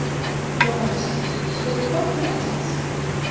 Jóhannes: Hefurðu komið til Indlands?